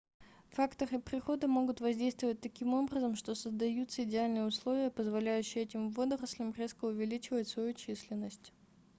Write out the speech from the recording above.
факторы природы могут воздействовать таким образом что создаются идеальные условия позволяющие этим водорослям резко увеличивать свою численность